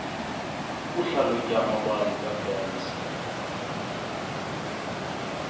ukuhlalutya amabali kaburns